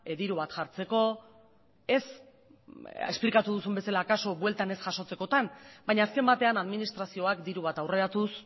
diru bat jartzeko ez esplikatu duzun bezala kasuan bueltan ez jasotzekotan baina azken batean administrazioak diru bat aurreratuz